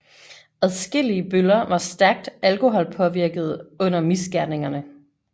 Adskillige bøller var stærkt alkoholpåvirkede under misgerningerne